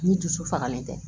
Ni dusu fagalen tɛ